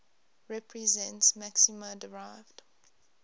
represents maxima derived